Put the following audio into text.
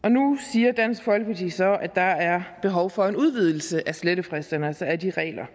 siger dansk folkeparti så at der er behov for en udvidelse af slettefristerne altså af de regler